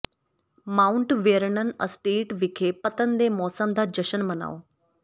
mount Vernon estate ਵਿਖੇ ਪਤਨ ਦੇ ਮੌਸਮ ਦਾ ਜਸ਼ਨ ਮਨਾਓ